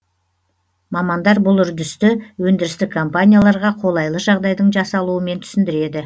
мамандар бұл үрдісті өндірістік компанияларға қолайлы жағдайдың жасалуымен түсіндіреді